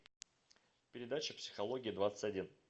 передача психология двадцать один